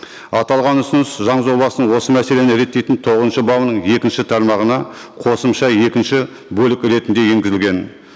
аталған ұсыныс заң жобасының осы мәселені реттейтін тоғызыншы бабының екінші тармағына қосымша екінші бөлік ретінде енгізілген